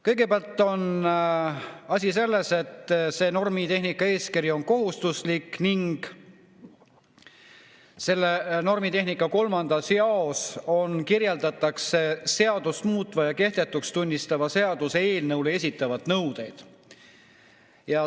Kõigepealt on asi selles, et normitehnika eeskiri on kohustuslik ja selle 3. jaos kirjeldatakse seadust muutva ja kehtetuks tunnistava seaduse eelnõule esitatavaid nõudeid.